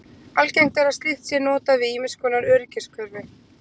Algengt er að slíkt sé notað við ýmiss konar öryggiskerfi.